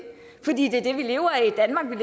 fordi det er det vi lever af